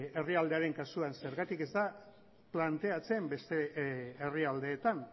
herrialdearen kasuan zergatik ez da planteatzen beste herrialdeetan